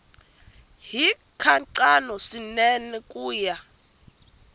hi nkhaqato swinene ku ya